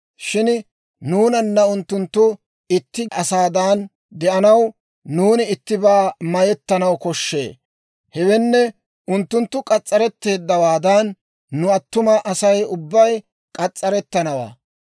Shin nuunana unttunttu itti asaadan de'anaw nuuni ittibaa mayettanaw koshshee; hewenne, unttunttu k'as's'aretteeddawaadan nu attuma Asay ubbay k'as's'arettanawaa.